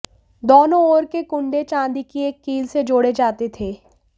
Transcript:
दोनों ओर के कुंडे चांदी की एक कील से जोड़े जाते थे